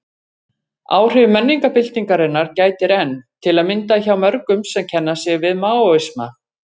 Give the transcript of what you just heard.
Áhrifa menningarbyltingarinnar gætir enn, til að mynda hjá mörgum sem kenna sig við Maóisma.